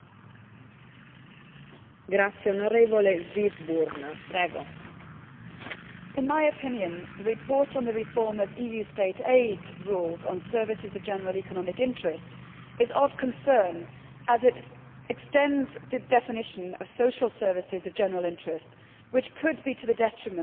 Madam President, in my opinion the report on the reform of EU state aid rules on services of general economic interest is of concern as it extends the definition of social services of general interest, which could be to the detriment of competition across the whole of the EU single market.